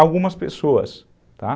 algumas pessoas, tá.